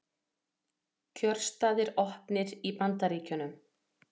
Kjörstaðir opnir í Bandaríkjunum